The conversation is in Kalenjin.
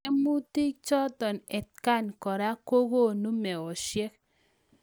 Tiemutik chotok atkan koraa kokonuu meosiek